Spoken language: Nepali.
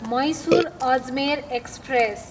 मैसुर, अजमेर एक्सप्रेस